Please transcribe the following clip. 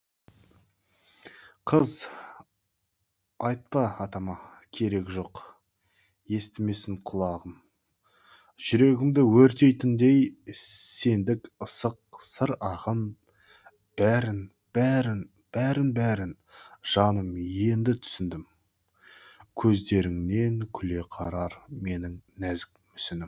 қыз айтпа атама керегі жоқ естімесін құлағым жүрегімді өртейтіндей сендік ыссық сыр ағын бәрін бәрін бәрін бәрін жаным енді түсіндім көздеріңнен күле қарар менің нәзік мүсінім